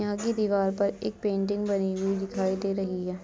यहाँ की दीवार पर एक पेंटिंग बनी हुई दिखाई दे रही है।